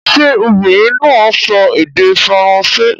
Ṣé obìnrin náà ń sọ èdè Faransé?